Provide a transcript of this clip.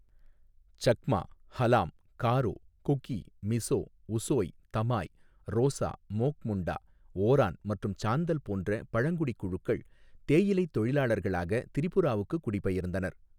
சக்மா, ஹலாம், காரோ, குகி, மிஸோ, உசோய், தமாய், ரோஸா, மோக் முண்டா, ஓரான் மற்றும் சாந்தல் போன்ற பழங்குடி குழுக்கள் தேயிலைத் தொழிலாளர்களாக திரிபுராவுக்கு குடிபெயர்ந்தனர்.